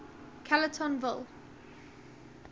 callertonville